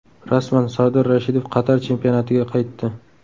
Rasman: Sardor Rashidov Qatar chempionatiga qaytdi.